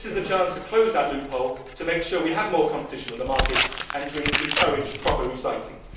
This is the chance to close that loophole to make sure that we have more competition on the market and to encourage proper recycling.